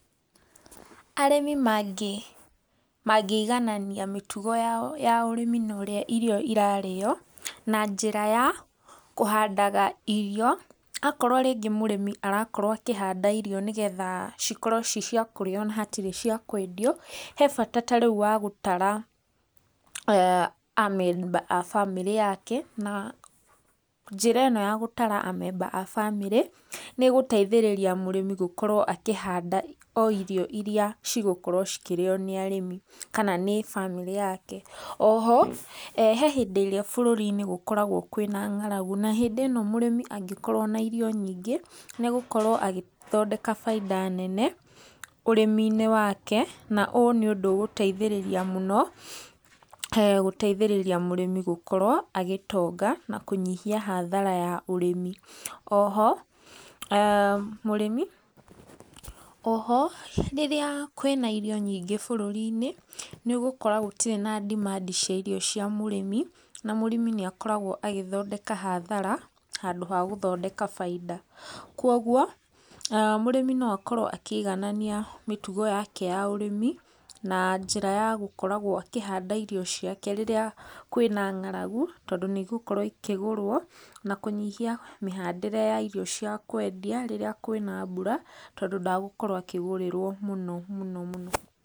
Arĩmi mangĩ iganania mĩtugo yao ya ũrĩmi na ũrĩa irio irarĩo na njĩra ya kũhandaga irio. Akorwo rĩngĩ mũrĩmi arakorwo akĩhanda irio nĩgetha cikorwo ci ciakũrĩo hatarĩ na cia kwendio, he bata ta rĩu wa gũtara a memba a bamĩrĩ yake. Na, njĩra ĩno ya gũtara a memba a bamĩrĩ nĩ ĩgũteithĩrĩria mũrĩmi gũkorwo akĩhanda o irio irĩa cigũkorwo cikĩrĩo nĩ arĩmi kana nĩ bamĩrĩ yake. Oho he hĩndĩ ĩrĩa bũrũri-inĩ gũkoragwo kwĩna ngaragu, na hĩndĩ ĩno mũrĩmi angĩkorwo ena irio nyingĩ nĩ egũkorwo agĩthondeka baita nene ũrĩmi-inĩ wake. Na ũyũ nĩ ũndũ ũgũteithĩrĩria mũno, gũteithĩrĩria mũrĩmi gũkorwo agĩtonga na kũnyihia hathara ya ũrĩmi. Oho mũrĩmi, oho rĩria kwĩna irio nyingĩ bũrũri-inĩ nĩ ũgũkora gũtirĩ na demand cia irio cia mũrĩmi na mũrĩmi nĩ akoragwo agĩthondeka hathara handũ ha gũthondeka baita. Koguo mũrĩmi no akorwo akĩiganania mĩtugo yake ya ũrĩmi, na njĩra ya gũkoragwo akĩhanda irio ciake rĩrĩa kwĩna ngaragu, tondũ nĩ igũkorwo ikĩgũrwo, na kũnyihia mĩhandĩre ya irio cia kwendia rĩrĩa kwĩna mbura, tondũ ndagũkorwo akĩgũrĩrwo mũno mũno mũno.